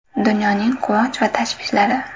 Dunyoning quvonch va tashvishlari.